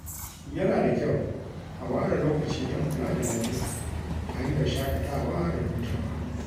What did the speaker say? Yana da kyau a ware lokaci don kula da lafiya ta hanyar shaƙatawa da hutawa.